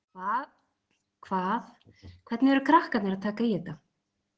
Hvað, hvernig eru krakkarnir að taka í þetta?